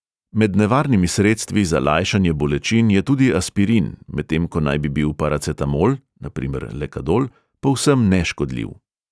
Med nevarnimi sredstvi za lajšanje bolečin je tudi aspirin, medtem ko naj bi bil paracetamol (na primer lekadol) povsem neškodljiv.